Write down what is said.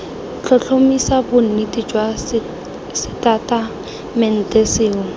tlhotlhomisa bonnete jwa setatamente sengwe